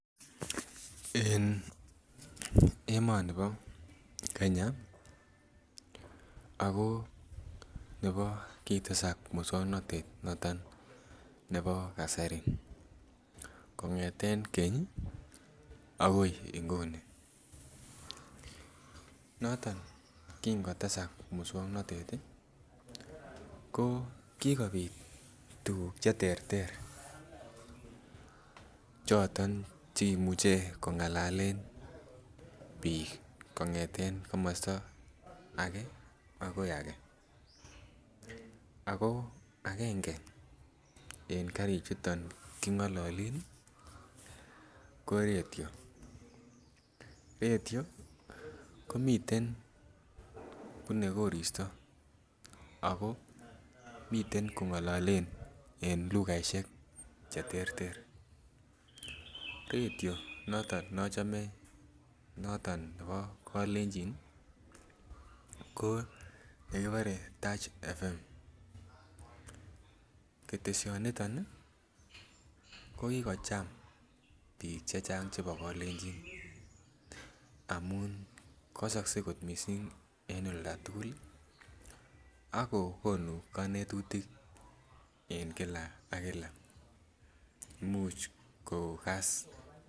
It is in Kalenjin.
En emoni bo Kenya ako nebo kotesak muswoknotet noton nebo kasari kongeten Keny akoi inguni noton kin kotesak muswoknotet tii ko kikopit tukuk cheterter cho yon cheimuche kongalalen bik kongeten komosto age akoi age, ako agenge en karik chito ko katio, ratio komiten bune koristo ako miten kongolole en lukaishek cheterter, ratio noto nochome noton nebo kolenjin ko nekibore Tarch FM . Keteshioniton Nii ko kikocham bik chebo kolenjin amun kodikse kot missing en olda tukul lii akokonu konetutik en kila ak kila, much kokas.